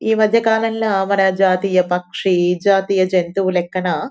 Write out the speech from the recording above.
ఈ మధ్యకాలంలో మన జాతీయ పక్షి జాతీయ జంతువు లెక్కన --